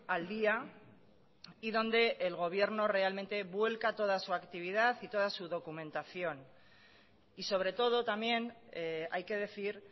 al día y donde el gobierno realmente vuelva toda su actividad y toda su documentación y sobre todo también hay que decir